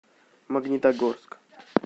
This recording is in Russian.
магнитогорск